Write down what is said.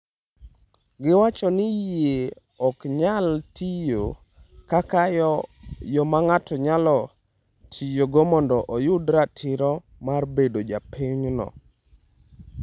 Giwacho ni yie ok nyal tiyo kaka yo ma ng’ato nyalo tiyogo mondo oyud ratiro mar bedo ja pinyno.